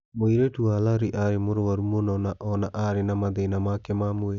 Mũirĩtu wa Larry aarĩ mũrũaru mũno na o na aarĩ na mathĩna make ma mwĩrĩ.